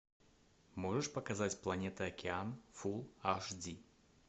можешь показать планета океан фулл аш ди